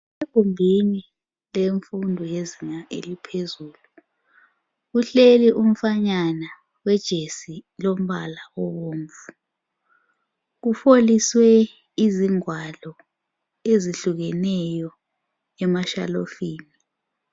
Egumbini lenfundo yezinga eliphezulu, Kuhleli umfanyana olejesi elombala obomvu .Kufoliswe izingwalo ezihlukeneyo emashalufini.